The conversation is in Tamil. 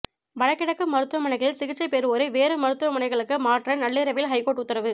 வடகிழக்கு மருத்துவமனைகளில் சிகிச்சை பெறுவோரை வேறு மருத்துவமனைகளுக்கு மாற்ற நள்ளிரவில் ஹைகோர்ட் உத்தரவு